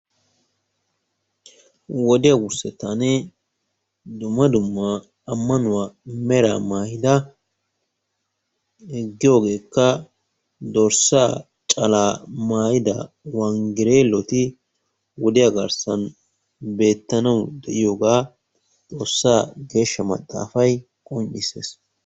Wodiya wurssettaani dumma dumma ammanuwa meraa mayida giyogeekka dorssaa calaa mayida wanggerelloti wodiya garssan beettanawu deiyogaa Xoossaa geeshsha maxaafay qonccissees.